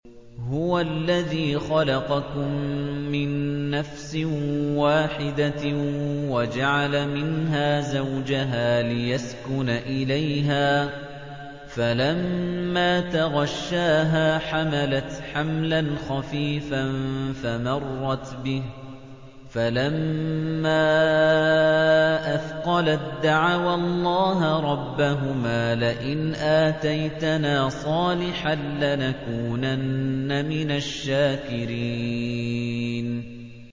۞ هُوَ الَّذِي خَلَقَكُم مِّن نَّفْسٍ وَاحِدَةٍ وَجَعَلَ مِنْهَا زَوْجَهَا لِيَسْكُنَ إِلَيْهَا ۖ فَلَمَّا تَغَشَّاهَا حَمَلَتْ حَمْلًا خَفِيفًا فَمَرَّتْ بِهِ ۖ فَلَمَّا أَثْقَلَت دَّعَوَا اللَّهَ رَبَّهُمَا لَئِنْ آتَيْتَنَا صَالِحًا لَّنَكُونَنَّ مِنَ الشَّاكِرِينَ